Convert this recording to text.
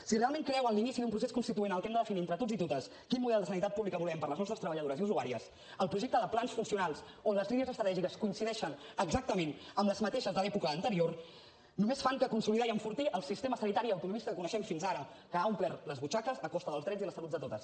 si realment creu en l’inici d’un procés constituent en el que hem de definir entre tots i totes quin model de sanitat pública volem per a les nostres treballadores i usuàries el projecte de plans funcionals on les línies estratègiques coincideixen exactament amb les mateixes de l’època anterior només fa que consolidar i enfortir el sistema sanitari autonomista que coneixem fins ara que ha omplert les butxaques a costa dels drets i la salut de totes